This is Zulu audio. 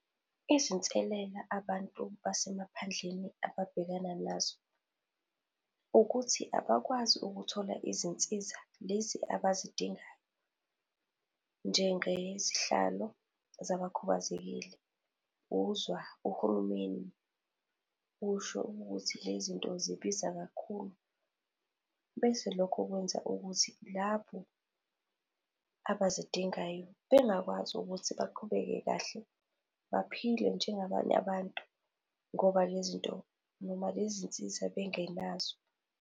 Izinselela abantu basemaphandleni ababhekana nazo ukuthi abakwazi ukuthola izinsiza lezi abazidingayo njengezihlalo zabakhubazekile. Uzwa uhulumeni usho ukuthi le zinto zibiza kakhulu. Bese lokho kwenza ukuthi labo abazidingayo bengakwazi ukuthi baqhubeke kahle baphile njengabanye abantu ngoba le zinto noma lezi zinsiza bengenazo.